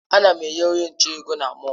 Ana m enye onye nche ego na mọll.